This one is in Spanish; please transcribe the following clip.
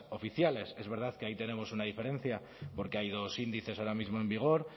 oficiales es verdad que ahí tenemos una diferencia porque hay dos índices ahora mismo en vigor